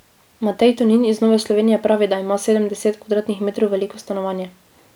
Matej Tonin iz Nove Slovenije pravi, da ima sedemdeset kvadratnih metrov veliko stanovanje.